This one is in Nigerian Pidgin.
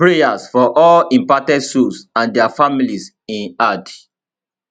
prayers for all impacted souls and dia families im add